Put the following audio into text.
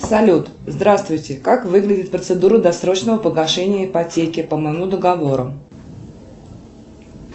салют здравствуйте как выглядит процедура досрочного погашения ипотеки по моему договору